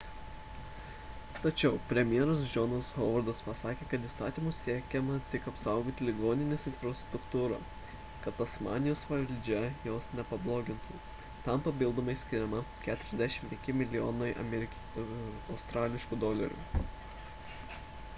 tačiau premjeras johnas howardas pasakė kad įstatymu siekiama tik apsaugoti ligoninės infrastruktūrą kad tasmanijos valdžia jos nepablogintų – tam papildomai skiriama 45 milijonai aud